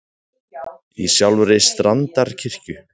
Í sjálfri Strandarkirkju.